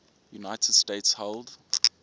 united states held